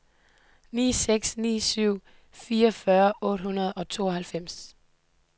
ni seks ni syv fireogfyrre otte hundrede og tooghalvfems